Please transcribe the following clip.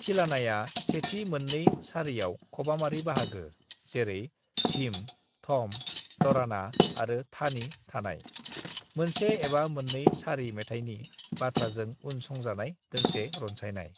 "थिलानाया सेथि मोननै सारियाव खबामारि बाहागो जेरै धीम, थम, तराना आरो थानी थानाय, मोनसे एबा मोननै सारि मेथायनि बाथ्राजों उन संजानाय दोंसे रनसायनाय।"